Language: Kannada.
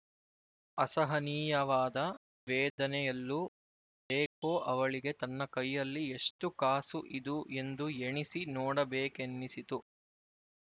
ಅಸಹನೀಯವಾದ ವೇದನೆಯಲ್ಲೂ ಅದೇಕೋ ಅವಳಿಗೆ ತನ್ನ ಕೈಯಲ್ಲಿ ಎಷ್ಟು ಕಾಸು ಇದು ಎಂದು ಎಣಿಸಿ ನೋಡಬೇಕೆನ್ನಿಸಿತು